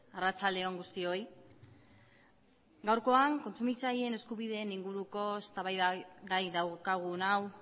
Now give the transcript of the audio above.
arratsalde on guztioi gaurkoan kontsumitzaileen eskubideen inguruko eztabaidagai daukagun hau